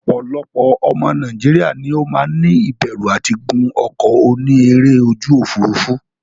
Opolopo omo Nigeria ni o maa ni iberu ati gun oko oni ere oju ofurufu.